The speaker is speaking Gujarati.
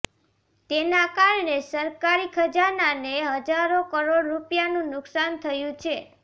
તેના કારણે સરકારી ખજાનાને હજારો કરોડ રૂપિયાનું નુકસાન થયું છે